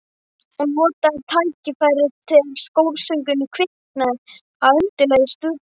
Og notaði tækifærið þegar kórsöngur kviknaði að undirlagi stuðboltanna.